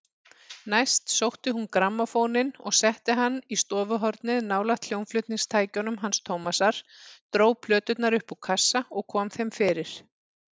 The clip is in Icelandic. Næst sótti hún grammófóninn og setti hann í stofuhornið nálægt hljómflutningstækjunum hans Tómasar, dró plöturnar upp úr kassa og kom þeim fyrir.